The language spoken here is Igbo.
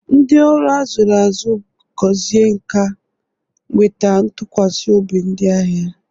Ndị ọrụ zụrụ azụ, gọzie nka, nweta ntụkwasị obi ndị ahịa.